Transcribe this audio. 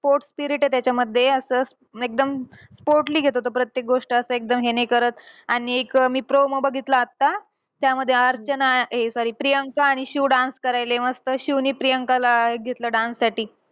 Sport spirit आहे त्याच्यामध्ये. असं एकदम sportly घेतो तो प्रत्येक गोष्ट. असं एकदम हे नाही करत आणि एक promo बघितला आता. त्यामध्ये अर्चना या sorry प्रियांका आणि शिव dance करायले मस्त. शिवने प्रियंकाला अं घेतलंय dance साठी.